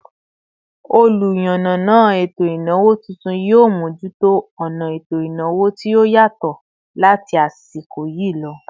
Oluyanana eto ìnáwó tuntun, yio mojuto ona eto ìnáwó tí ó yatọ láti asiko yi lọ